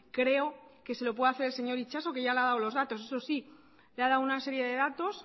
creo que se lo puede hacer el señor itxaso que ya le ha dado los datos eso sí le ha dado una serie de datos